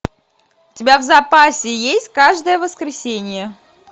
у тебя в запасе есть каждое воскресенье